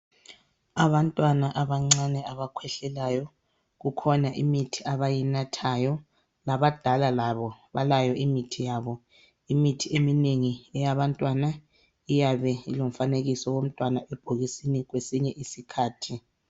Abantwana abancane abakhwehlelayo, kukhona imithi abayinathayo. Labadala labo balayo imithi yabo. Imithi eminengi eyabantwana iyabe ilomfanekiso womntwana ebhokisini kwesinye isikhathi.